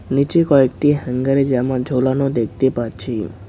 নিচে কয়েকটি হ্যাঙ্গারে জামা ঝোলানো দেখতে পাচ্ছি।